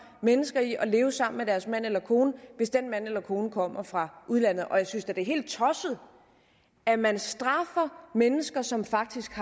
mennesker i at leve sammen med deres mand eller kone hvis den mand eller kone kommer fra udlandet og jeg synes da det er helt tosset at man straffer mennesker som faktisk